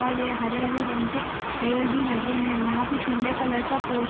और ये हरे-हरे रंग के पेड़ भी लगे है यहाँ पे पिले कलर का पोस्टर --